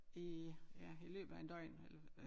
I ja i løbet af en døgn eller